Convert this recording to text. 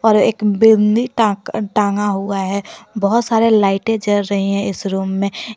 और एक बिंदी टा टागा हुआ है बहुत सारे लाइटे जल रहे हैं इस रूम में --